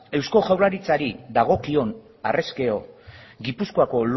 eusko jaurlaritzari dagokion harrezkero gipuzkoako